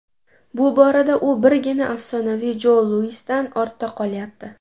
Bu borada u birgina afsonaviy Jo Luisdan ortda qolyapti.